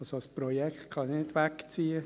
Also: Ein Projekt kann nicht wegziehen.